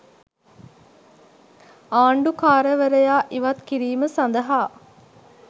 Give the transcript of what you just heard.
ආණ්ඩුකාරවරයා ඉවත් කිරීම සදහා